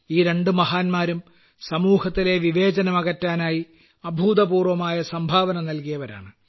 ഈ രണ്ടു മഹാന്മാരും സമൂഹത്തിലെ വിവേചനം അകറ്റാനായി അഭൂതപൂർവ്വമായ സംഭാവനകൾ നൽകിയവരാണ്